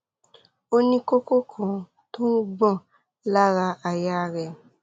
ó ní kókó kan tó ń gbọn lára àyà rẹ